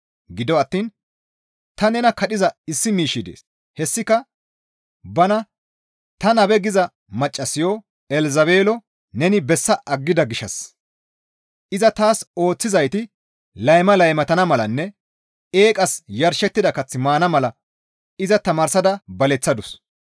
Gido attiin ta nena kadhiza issi miishshi dees; hessika bana, ‹Tani nabe› giza maccassayo Elzabeelo neni bessa aggida gishshas iza taas ooththizayti layma laymatana malanne eeqas yarshettida kath maana mala iza tamaarsada baleththadus.